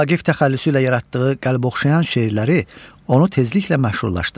Vaqif təxəllüsü ilə yaratdığı qəlb oxşayan şeirləri onu tezliklə məşhurlaşdırır.